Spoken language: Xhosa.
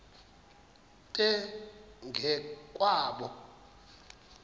nto ngo kwabo